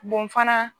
fana